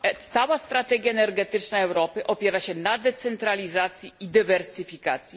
Cała strategia energetyczna Europy opiera się na decentralizacji i dywersyfikacji.